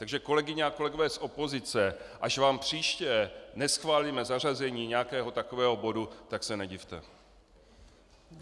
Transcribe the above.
Takže kolegyně a kolegové z opozice, až vám příště neschválíme zařazení nějakého takového bodu, tak se nedivte.